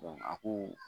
a ko